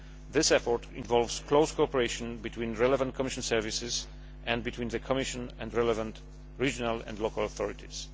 This effort involves close cooperation between relevant Commission services and between the Commission and relevant regional and local authorities.